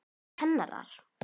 Það var kennara